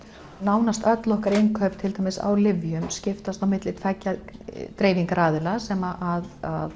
nánast öll okkar innkaup til dæmis á lyfjum skiptar á milli tveggja dreifingaraðila sem